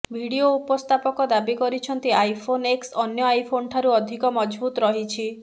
video ଉପସ୍ଥାପକ ଦାବି କରିଛନ୍ତି ଆଇଫୋନ୍ ଏକ୍ସ ଅନ୍ୟ ଆଇଫୋନ୍ଠାରୁ ଅଧିକ ମଜବୁତ ରହିଛି